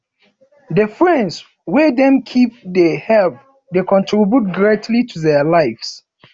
the friends wey dem keep de help de contribute greatly to their lives